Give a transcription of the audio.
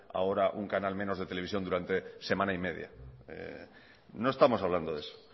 ahora un canal menos de televisión durante semana y media no estamos hablando de eso